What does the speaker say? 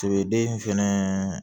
Sigeden fɛnɛ